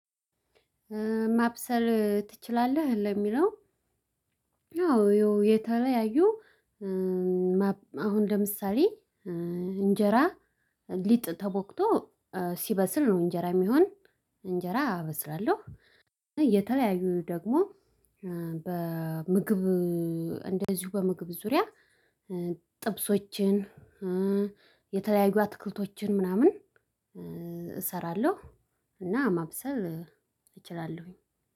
ማብሰል ትችላለህ ለሚለው? ያው የተለያዩ አሁን ለምሳሌ እንጀራ ሊጥ ተቦክቶ ሲበስል ነው እንጀራ ሚሆን እንጀራ አበስላለሁ። እየተለያዩ ደግሞ በምግብ እንደዚሁ በምግብ ዙሪያ ጥብሶችን የተለያዩ አትክልቶችን ምናምን እሰራለሁ። እና ማብሰል እችላለሁኝ።